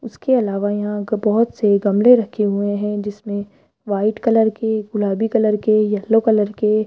उसके अलावा यहां ग बहोत से गमले रखे हुए हैं जिसमें व्हाइट कलर के गुलाबी कलर के येलो कलर के --